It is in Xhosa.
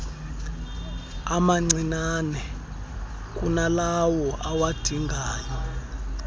amancinnane kunalawo awadingayo